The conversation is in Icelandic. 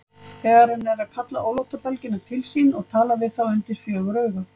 Þegar hann er að kalla ólátabelgina til sín og tala við þá undir fjögur augu.